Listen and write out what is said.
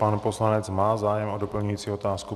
Pan poslanec má zájem o doplňující otázku.